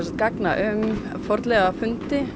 gagna um fornleifafundi